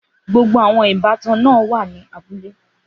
Gbogbo àwọn ìbátan náà wà ní abúlé.